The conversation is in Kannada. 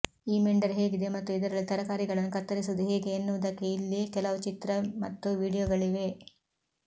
ಈ ಮೆಂಡರ್ ಹೇಗಿದೆ ಮತ್ತು ಇದರಲ್ಲಿ ತರಕಾರಿಗಳನ್ನು ಕತ್ತರಿಸುವುದು ಹೇಗೆ ಎನ್ನುವದಕ್ಕೆ ಇಲ್ಲಿ ಕೆಲವು ಚಿತ್ರ ಮತ್ತು ವೀಡಿಯೋಗಳಿವೆ